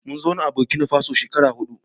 Mun zauna a Burkinafaso shekaru huɗu